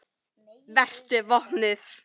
Vertu vopnuð.